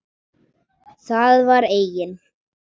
Það var eigin